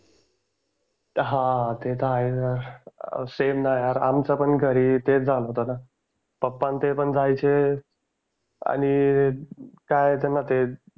हां ते तर आहेच यार सेम ना यार आमचं पण घरी तेच झालं होतं ना पप्पा अन ते पण जायचे आणि काय त्यांना ते